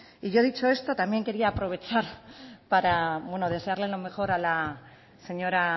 y yo dicho esto también quería aprovechar para desearle lo mejor a la señora